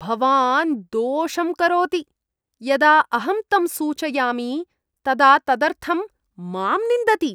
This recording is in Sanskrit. भवान् दोषं करोति, यदा अहं तं सूचयामि तदा तदर्थं माम् निन्दति!